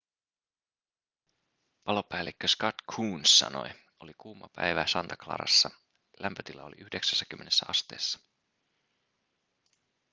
palopäällikkö scott kouns sanoi oli kuuma päivä santa clarassa lämpötila oli 90 asteessa